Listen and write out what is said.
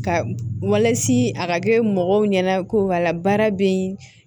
Ka walasi a ka kɛ mɔgɔw ɲɛna ko ka la baara bɛ yen